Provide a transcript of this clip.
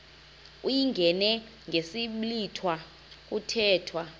uyingene ngesiblwitha kuthethwa